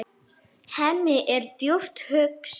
Hemmi er djúpt hugsi.